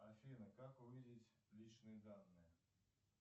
афина как увидеть личные данные